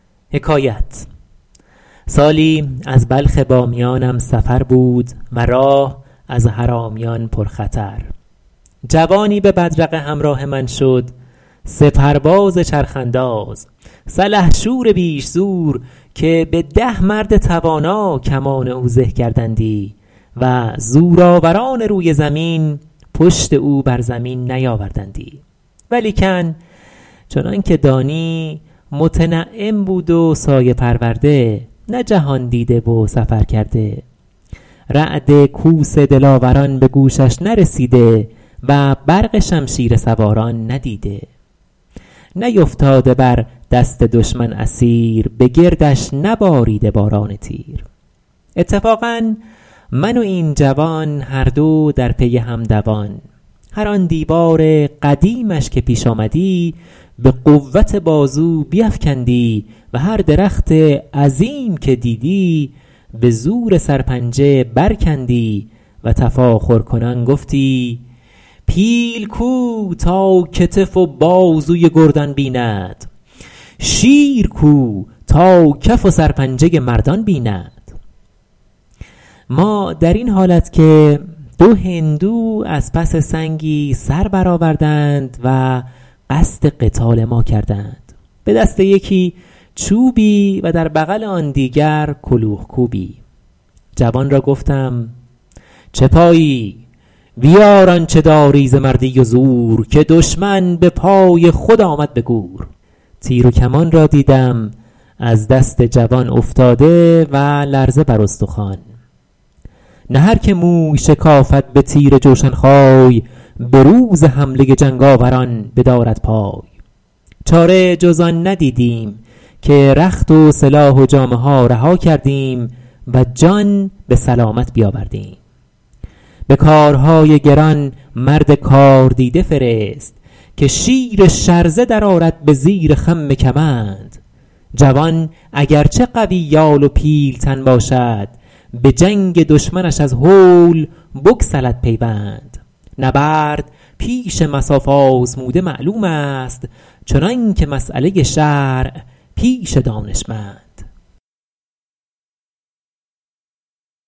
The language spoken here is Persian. سالی از بلخ بامیانم سفر بود و راه از حرامیان پر خطر جوانی به بدرقه همراه من شد سپرباز چرخ انداز سلحشور بیش زور که به ده مرد توانا کمان او زه کردندی و زورآوران روی زمین پشت او بر زمین نیاوردندی ولیکن چنان که دانی متنعم بود و سایه پرورده نه جهاندیده و سفر کرده رعد کوس دلاوران به گوشش نرسیده و برق شمشیر سواران ندیده نیفتاده بر دست دشمن اسیر به گردش نباریده باران تیر اتفاقا من و این جوان هر دو در پی هم دوان هر آن دیوار قدیمش که پیش آمدی به قوت بازو بیفکندی و هر درخت عظیم که دیدی به زور سرپنجه بر کندی و تفاخرکنان گفتی پیل کو تا کتف و بازوی گردان بیند شیر کو تا کف و سر پنجه مردان بیند ما در این حالت که دو هندو از پس سنگی سر بر آوردند و قصد قتال ما کردند به دست یکی چوبی و در بغل آن دیگر کلوخ کوبی جوان را گفتم چه پایی بیار آنچه داری ز مردی و زور که دشمن به پای خود آمد به گور تیر و کمان را دیدم از دست جوان افتاده و لرزه بر استخوان نه هر که موی شکافد به تیر جوشن خای به روز حمله جنگاوران بدارد پای چاره جز آن ندیدیم که رخت و سلاح و جامه ها رها کردیم و جان به سلامت بیاوردیم به کارهای گران مرد کاردیده فرست که شیر شرزه در آرد به زیر خم کمند جوان اگر چه قوی یال و پیلتن باشد به جنگ دشمنش از هول بگسلد پیوند نبرد پیش مصاف آزموده معلوم است چنان که مسأله شرع پیش دانشمند